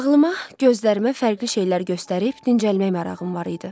Ağlıma, gözlərimə fərqli şeylər göstərib dincəlmək marağım var idi.